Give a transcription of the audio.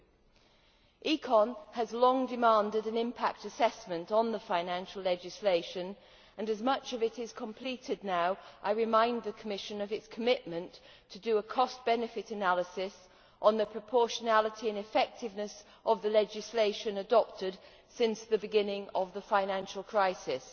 The Committee on Economic and Monetary Affairs has long demanded an impact assessment on the financial legislation, and as much of it is now completed I remind the Commission of its commitment to do a cost benefit analysis on the proportionality and effectiveness of the legislation adopted since the beginning of the financial crisis.